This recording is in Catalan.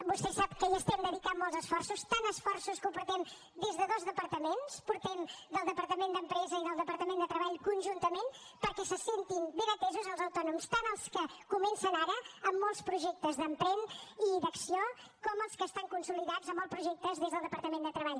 vostè sap que hi estem dedicant molts esforços tants esforços que ho portem des de dos departaments ho portem des del departament d’empresa i des del departament de treball conjuntament perquè se sentin ben atesos els autònoms tant els que comencen ara amb molts projectes d’emprèn i d’acció com els que estan consolidats amb els projectes des del departament de treball